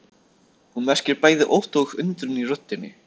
Hún merkir bæði ótta og undrun í röddinni.